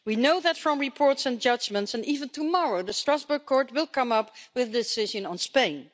We know that from reports and judgments, and even tomorrow the Strasbourg Court will come up with a decision on Spain.